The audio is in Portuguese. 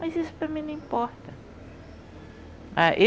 Mas isso para mim não importa.